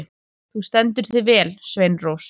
Þú stendur þig vel, Sveinrós!